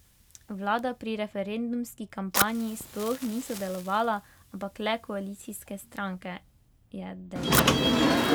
Vlada pri referendumski kampanji sploh ni sodelovala, ampak le koalicijske stranke, je dejal.